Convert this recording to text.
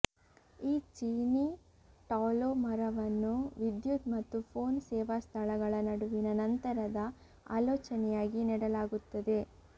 ಈ ಚೀನೀ ಟಾಲೋ ಮರವನ್ನು ವಿದ್ಯುತ್ ಮತ್ತು ಫೋನ್ ಸೇವಾ ಸ್ಥಳಗಳ ನಡುವಿನ ನಂತರದ ಆಲೋಚನೆಯಾಗಿ ನೆಡಲಾಗುತ್ತದೆ